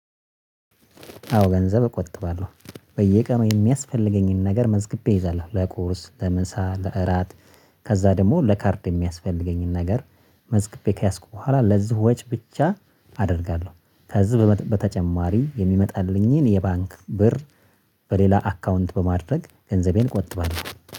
አዎ ገንዘብ እቆጥባለሁ በየቀኑ ሚያስፈልገኝን ነገር መዝግቤ እይዛለሁ ለቁርስ ለምሳ ለእራት። ከዛ ደግሞ ለካርድ ሚያስፈልገኝን ነገር መዝገቤ ከያዝኩ በኋላ ለዚሁ ወጪ ብቻ አደርጋለሁ። ከዚህ በተጨማሪ የሚመጣልኝን የባንክ ብር። በሌላ አካውንት በማድረግ ገንዘቤን እቆጥባለሁ